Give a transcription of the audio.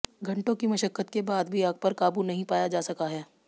घंटों की मशक्कत के बाद भी आग पर काबू नहीं पाया जा सका है